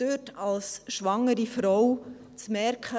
Dort als schwangere Frau zu merken: